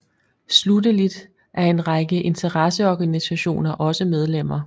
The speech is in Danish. Slutteligt er en række interesseorganisationer også medlemmer